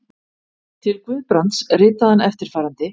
Til Guðbrands ritaði hann eftirfarandi